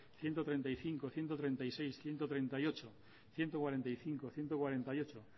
ciento treinta y cinco ciento treinta y seis ciento treinta y ocho ciento cuarenta y cinco ciento cuarenta y ocho